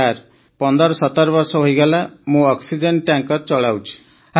sir 1517 ବର୍ଷ ହେଇଗଲା ମୁଁ ଅକ୍ସିଜେନ ଟ୍ୟାଙ୍କର ଚଳାଉଛି